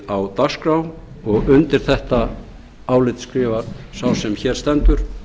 á dagskrá undir þetta álit skrifar sá sem hér stendur